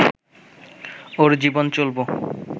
ওর জীবন চলব